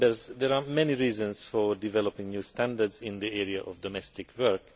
There are many reasons for developing new standards in the area of domestic work.